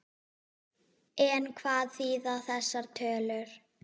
En hvað þýða þessar tölur?